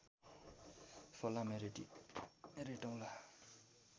फलामे रेटि रेटौला